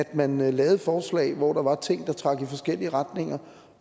man lavede forslag hvor der var ting der trak i forskellige retninger